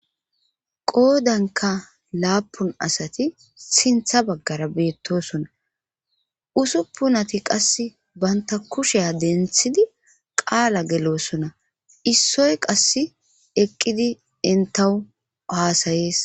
qoodanka laapun asati sintha baggara beettosona usuppunati qass banta kushiya denthidi qaala geloosona issoy qass eqqidi intahu waasayees